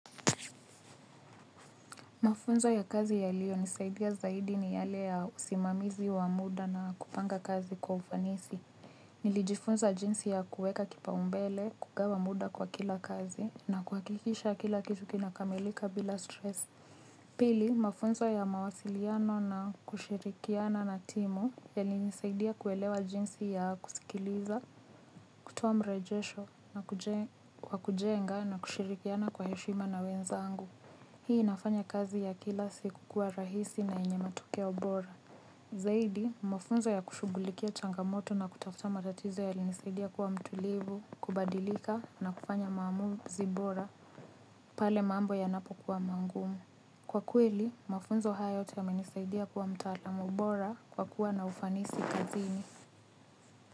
Mafunzo ya kazi yaliyo nisaidia zaidi ni yale ya usimamizi wa muda na kupanga kazi kwa ufanisi. Nilijifunza jinsi ya kueka kipaumbele, kugawa muda kwa kila kazi, na kuhakikisha kila kitu kinakamilika bila stress. Pili, mafunzo ya mawasiliano na kushirikiana na timu, yalinisaidia kuelewa jinsi ya kusikiliza, kutoa mrejesho, na kujenga na kushirikiana kwa heshima na wenzangu. Hii inafanya kazi ya kila siku kuwa rahisi na yenye matokeo bora. Zaidi, mafunzo ya kushugulikia changamoto na kutafuta matatizo yalinisaidia kuwa mtulivu, kubadilika na kufanya maamuzi bora, pale maambo yanapo kuwa mangumu. Kwa kweli, mafunzo haya yote yamenisaidia kuwa mtaalamu bora kwa kuwa na ufanisi kazini.